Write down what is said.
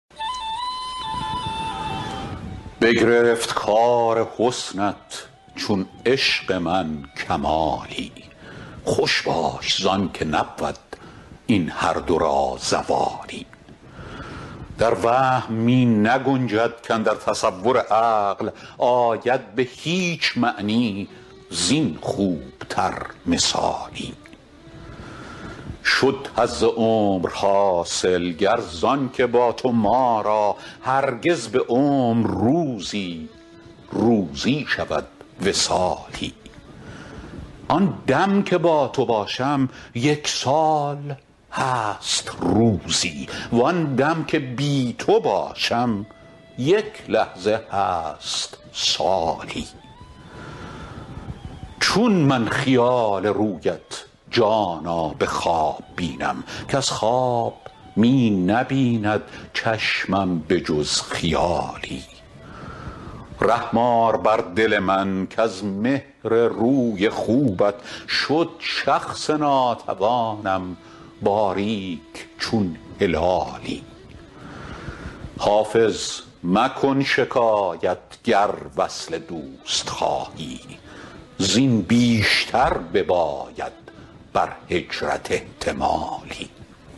بگرفت کار حسنت چون عشق من کمالی خوش باش زان که نبود این هر دو را زوالی در وهم می نگنجد کاندر تصور عقل آید به هیچ معنی زین خوب تر مثالی شد حظ عمر حاصل گر زان که با تو ما را هرگز به عمر روزی روزی شود وصالی آن دم که با تو باشم یک سال هست روزی وان دم که بی تو باشم یک لحظه هست سالی چون من خیال رویت جانا به خواب بینم کز خواب می نبیند چشمم به جز خیالی رحم آر بر دل من کز مهر روی خوبت شد شخص ناتوانم باریک چون هلالی حافظ مکن شکایت گر وصل دوست خواهی زین بیشتر بباید بر هجرت احتمالی